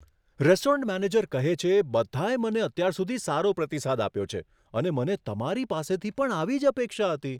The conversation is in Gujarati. રેસ્ટોરન્ટ મેનેજર કહે છે, બધાએ મને અત્યાર સુધી સારો પ્રતિસાદ આપ્યો છે અને મને તમારી પાસેથી પણ આવી જ અપેક્ષા હતી.